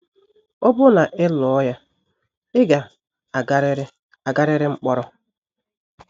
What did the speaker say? “ Ọ bụrụ na ị lụọ ya, ị ga - agarịrị agarịrị mkpọrọ. ”